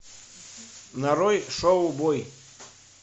нарой шоу бой